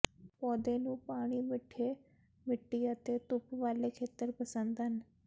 ਪੌਦੇ ਨੂੰ ਪਾਣੀ ਮਿੱਠੇ ਮਿੱਟੀ ਅਤੇ ਧੁੱਪ ਵਾਲੇ ਖੇਤਰ ਪਸੰਦ ਹਨ